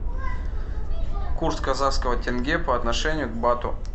курс казахского тенге по отношению к бату